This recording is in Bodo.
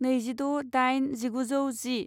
नैजिद' दाइन जिगुजौ जि